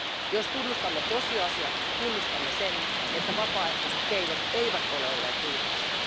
Jos tunnustamme tosiasiat, tunnustamme sen, että vapaaehtoiset keinot eivät ole olleet riittäviä.